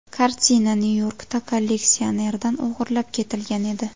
Kartina Nyu-Yorkda kolleksionerdan o‘g‘irlab ketilgan edi.